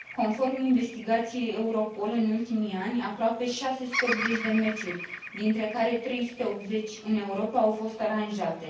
Conform investigației Europol, în ultimii ani, aproape 680 de meciuri, dintre care 380 în Europa, au fost aranjate.